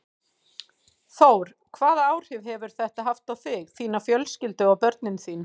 Þór: Hvaða áhrif hefur þetta haft á þig, þína fjölskyldu og á börnin þín?